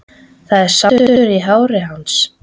Það er sandur í hári hans.